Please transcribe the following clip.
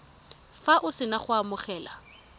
fa o sena go amogela